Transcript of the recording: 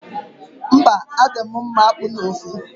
Mba, adị m mma akpu na ofe.